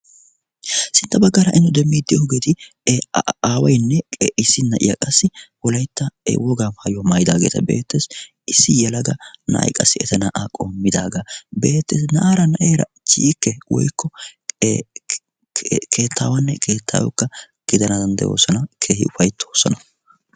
sintta baggaara innu demmiittiyoogeeti e aawainne qe issi na'iya qassi wolaytta e wogaa haayuya maayidaageeta beettessi issi yalaga na'ay qassi eta na'aa qommidaagaa beetteesi naara na'eera chiikke woykko keettaawanne keettaaakka gidana danddoosana kehi ufayttoosana